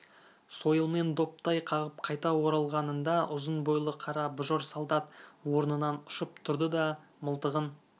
сойылмен доптай қағып қайта оралғанында ұзын бойлы қара бұжыр солдат орнынан ұшып тұрды да мылтығын